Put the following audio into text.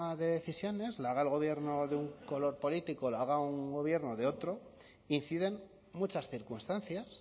de decisiones la haga el gobierno de un color político la haga un gobierno de otro inciden muchas circunstancias